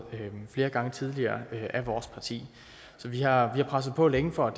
flere gange tidligere af vores parti så vi har presset på længe for